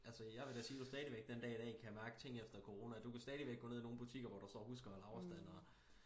Altså jeg vil da sige du stadigvæk den dag i dag kan mærke ting efter corona du kan stadigvæk gå ned i nogle butikker hvor der står husk og hold afstand og